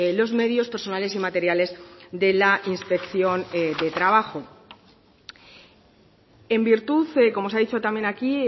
los medios personales y materiales de la inspección de trabajo en virtud como se ha dicho también aquí